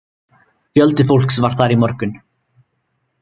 Fjöldi fólks var þar í morgun